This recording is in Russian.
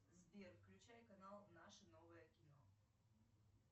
сбер включай канал наше новое кино